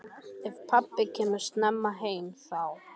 Ef pabbi kemur snemma heim þá.